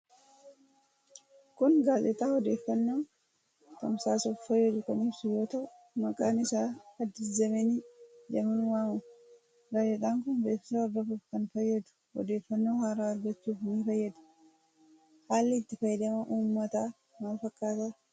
Kun gaazexaa odeffannoo tamsaasuf fayyadu kan ibsuu yoo tahuu maqaan isaa addis zemenii jedhamun waamama. Gaazexaan kun beeksisa hordofuuf kan fayyadu odeeffannoo haaraa argachuuf ni fayyada. Haalli itti fayyadama uummata maal fakkaata?